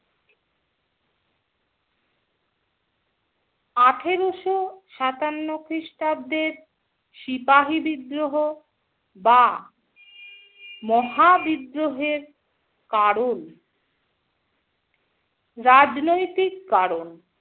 আঠেরোশো সাতান্ন খ্রিস্টাব্দের সিপাহী বিদ্রোহ বা মহাবিদ্রোহের কারণ, রাজনৈতিক কারণ -